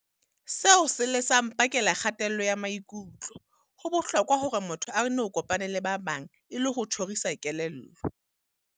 Seo se le sa mpakela kgatello ya maikutlo. Ho bohlokwa hore motho no kopane le ba bang, e le ho tjhorisa kelello.